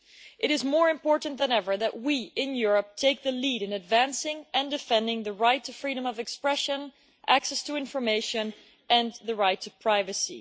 It is more important than ever that we, in Europe, take the lead in advancing and defending the right to freedom of expression, access to information and the right to privacy.